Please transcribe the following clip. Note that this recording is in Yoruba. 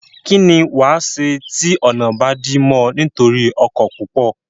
kín ni wàá ṣe tí ọ̀nà bá dí mọ́ ọ nítorí ọkọ̀ púpọ̀?